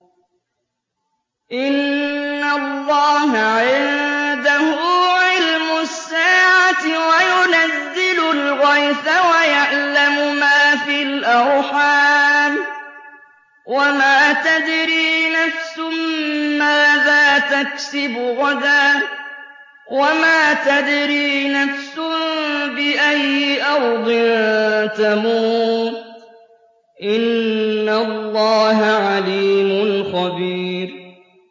إِنَّ اللَّهَ عِندَهُ عِلْمُ السَّاعَةِ وَيُنَزِّلُ الْغَيْثَ وَيَعْلَمُ مَا فِي الْأَرْحَامِ ۖ وَمَا تَدْرِي نَفْسٌ مَّاذَا تَكْسِبُ غَدًا ۖ وَمَا تَدْرِي نَفْسٌ بِأَيِّ أَرْضٍ تَمُوتُ ۚ إِنَّ اللَّهَ عَلِيمٌ خَبِيرٌ